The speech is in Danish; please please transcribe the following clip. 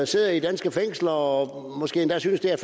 sidder i danske fængsler og måske endda synes det er